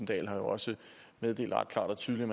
dahl har også meddelt ret klart og tydeligt